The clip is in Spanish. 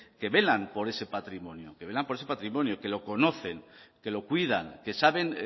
que velan por ese patrimonio que velan por ese patrimonio que lo conocen que lo cuidan que saben